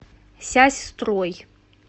сясьстрой